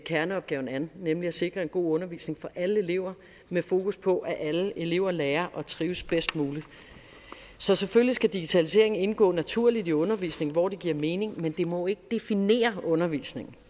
kerneopgaven an nemlig at sikre en god undervisning for alle elever med fokus på at alle elever lærer og trives bedst muligt så selvfølgelig skal digitaliseringen indgå naturligt i undervisningen hvor det giver mening men det må ikke definere undervisningen